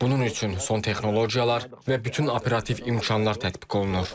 Bunun üçün son texnologiyalar və bütün operativ imkanlar tətbiq olunur.